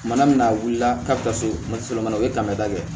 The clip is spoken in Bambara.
Mana min a wulila k'a bɛ taa se maliso ma o ye kabada ye